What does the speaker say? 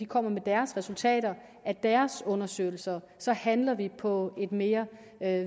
kommer med deres resultater af deres undersøgelser så handler vi på et mere